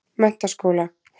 Menntaskóla